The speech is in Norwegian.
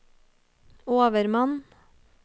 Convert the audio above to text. overmann